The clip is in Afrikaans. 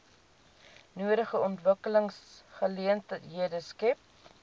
nodige ontwikkelingsgeleenthede skep